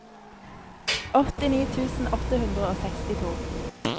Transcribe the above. åttini tusen åtte hundre og sekstito